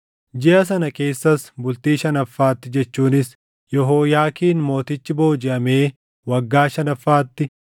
Jiʼa sana keessaas bultii shanaffaatti jechuunis Yehooyaakiin Mootichi boojiʼamee waggaa shanaffaatti,